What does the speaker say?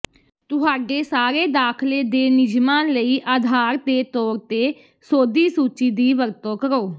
ਤੁਹਾਡੇ ਸਾਰੇ ਦਾਖ਼ਲੇ ਦੇ ਨਿਯਮਾਂ ਲਈ ਆਧਾਰ ਦੇ ਤੌਰ ਤੇ ਸੋਧੀ ਸੂਚੀ ਦੀ ਵਰਤੋਂ ਕਰੋ